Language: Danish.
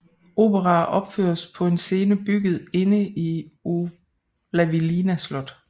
Operaer opføres på en scene bygget inde i Olavinlinna slot